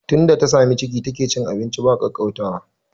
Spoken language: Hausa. Tunda ta sami ciki take cin abinci ba kwaukwautawa